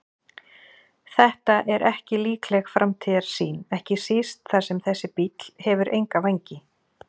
Þetta er ekki líkleg framtíðarsýn, ekki síst þar sem þessi bíll hefur enga vængi.